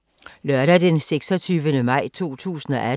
Lørdag d. 26. maj 2018